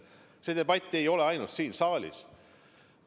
See debatt ei ole ainult siin saalis.